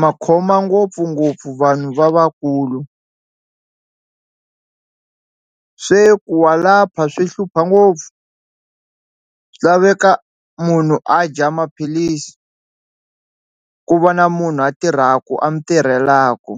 ma khoma ngopfungopfu vanhu lavakulu se ku wa lapha swi hlupha ngopfu swi laveka munhu a dya maphilisi ku va na munhu a tirhaku a mi tirhelaku.